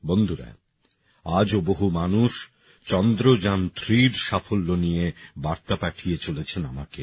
বন্ধুরা আজও বহু মানুষ চন্দ্রযানথ্রিএর সাফল্য নিয়ে বার্তা পাঠিয়ে চলেছেন আমাকে